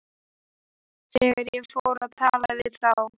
Þegar ég fór að tala við þá.